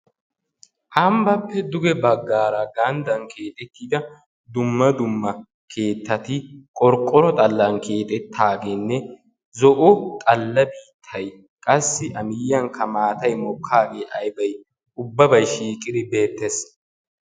Ambbappe duge baggaara gangdan keexxetida keeettati qorqqoro xallan keexxetaageene zo'o xalla biittay qassi a miyiyankka maatay mokkaagee qassi shiiqidi beettees.